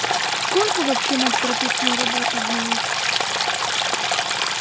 сколько вообще мать про петину работу знает